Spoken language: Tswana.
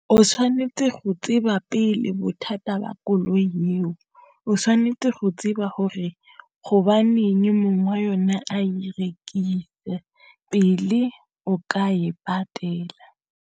O tshwanetse go tseba pele bothata ba koloi eo, o tshwanetse go tseba hore ho ba neng mongwe yone a e rekisa pele o ka e patela.